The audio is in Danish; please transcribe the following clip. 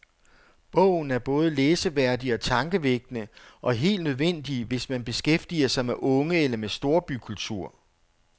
Bogen er både læseværdig og tankevækkende, og helt nødvendig, hvis man beskæftiger sig med unge eller med storbykultur.